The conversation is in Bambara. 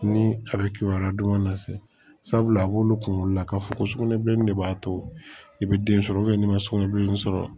Ni a bɛ kibaruya don na se sabula a b'olu kunkolo la k'a fɔ ko sugunɛbilennin de b'a to i bɛ den sɔrɔ n'i ma sugunɛ bilenni sɔrɔ